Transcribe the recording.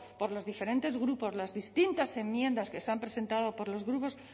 por los diferentes grupos las distintas enmiendas que se han presentado por los grupos